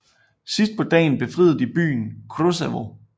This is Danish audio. Sidst på dagen befriede de byen Kruševo